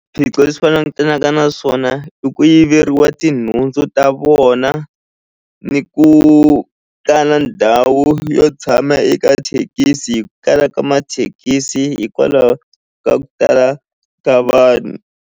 leswi va langutanaka na swona i ku yiveriwa tinhundzu ta vona ni ku kala ndhawu yo tshama eka thekisi hi ku kala ka mathekisi hikwalaho ka ku tala ka vanhu.